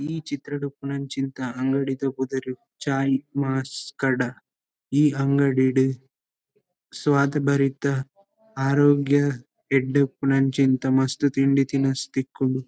ಈ ಚಿತ್ರಡ್ ಉಪ್ಪುನಂಚಿಂತ ಅಂಗಡಿದ ಪುದರ್ ಚಾಯ್ ಕಡ ಈ ಅಂಗಡಿಡ್ ಸ್ವಾದ್ ಭರಿತ ಆರೋಗ್ಯ ಎಡ್ಡೆ ಉಪ್ಪುನಂಚಿಂತ ಮಸ್ತ್ ತಿಂಡಿ ತಿನಸು ತಿಕ್ಕುಂಡು.